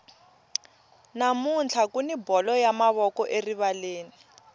namuntlha kuni bolo ya mavoko erivaleni